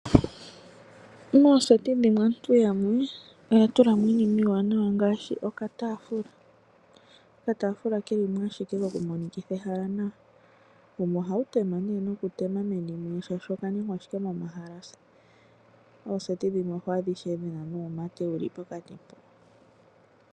Mooseti dhimwe aantu yamwe oya tula mo Iinima iiwana ngaashi okataafula . Okataafula Keli mo ashike koku monikitha nawa ehala wumwe ohawu tema nokutema meni nee oshoka oka ningwa ashike momahalasa. Ooseti dhimwe oho adha ishewe dhina nuumate pevi mpo.